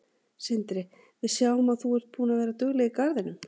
Sindri: Við sjáum að þú er búin að vera dugleg í garðinum?